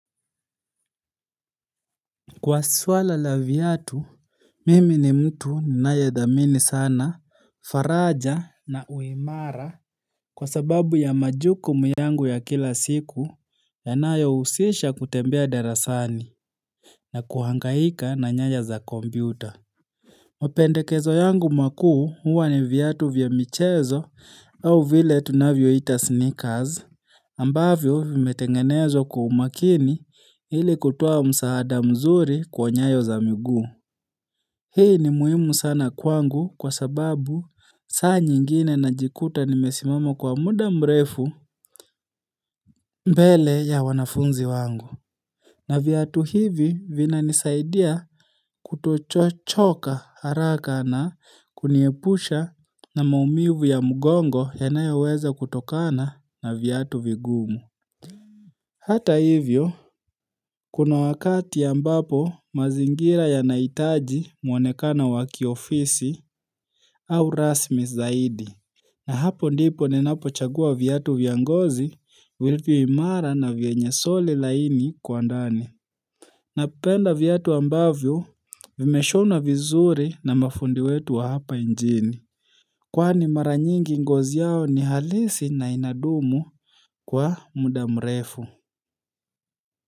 Kwa suala la viatu Mimi ni mtu ninayethamini sana faraja na uimara Kwa sababu ya majukumu yangu ya kila siku Yanayohusisha kutembea darasani na kuhangaika na nyaja za kompyuta mapendekezo yangu makuu huwa ni viatu vya michezo au vile tunavyoita sneakers ambavyo vimetengenezwa kwa umakini ili kutoa msaada mzuri kwa nyayo za miguu. Hii ni muhimu sana kwangu kwa sababu saa nyingine najiikuta nimesimama kwa muda mrefu mbele ya wanafunzi wangu. Na viatu hivi vinanisaidia kutochoka haraka na kuniepusha na maumivu ya mgongo yanayoweza kutokana na viatu vigumu. Hata hivyo, kuna wakati ambapo mazingira yanahitaji mwonekano wa kiofisi au rasmi zaidi. Na hapo ndipo ninapochagua viatu vya ngozi, vilivyo imara na vyenye soli laini kwa ndani. Napenda viatu ambavyo, vimeshonwa vizuri na mafundi wetu wa hapa nchini. Kwani mara nyingi ngozi yao ni halisi na inadumu kwa muda mrefu.